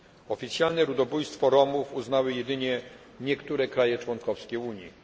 Oficjalne ludobójstwo Romów uznały jedynie niektóre państwa członkowskie Unii.